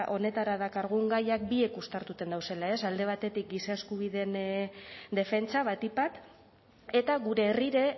honetara dakargun gaiak biek uztartuten dauzela ez alde batetik giza eskubideen defentsa batik bat eta gure herrire